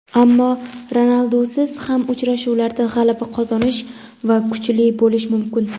Ammo Ronaldusiz ham uchrashuvlarda g‘alaba qozonish va kuchli bo‘lish mumkin.